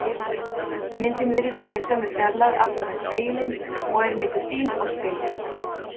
Myndin virðist vera í sömu fjarlægð aftan við spegilinn og er milli þín og spegils.